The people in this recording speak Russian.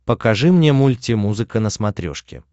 покажи мне мультимузыка на смотрешке